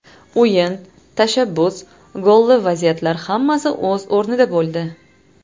O‘yin, tashabbus, golli vaziyatlar hammasi o‘z o‘rnida bo‘ldi.